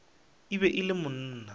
e be e le monna